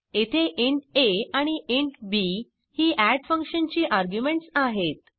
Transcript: येथे int a आणि int b ही एड फंक्शन ची आर्ग्युमेंट्स आहेत